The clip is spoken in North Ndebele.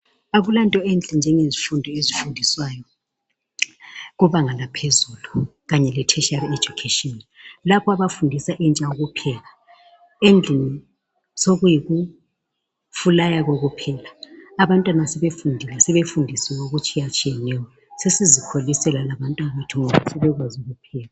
Akulanto enhle njengezifundo ezifundiswayo kubanga laphezulu kanye le tertiary education lapha abafundisa intsha ukupheka, endlini sokuyikufulaya kokuphela abantwana sebefundile sebefundisiwe okutshiyatshiyeneyo sesizikholisela labantwabethu ngoba sebekwazi ukupheka.